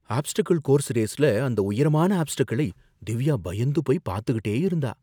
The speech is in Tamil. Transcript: ஆப்ஸ்டக்கிள் கோர்ஸ் ரேஸ்ல அந்த உயரமான ஆப்ஸ்டக்கிளை திவ்யா பயந்துபோய் பாத்துக்கிட்டே இருந்தா.